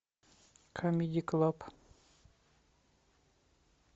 камеди клаб